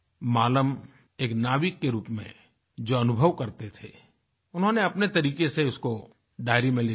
मालम एक नाविक के रूप में जो अनुभव करते थे उन्होंने अपने तरीक़े से उसको डायरी में लिखा था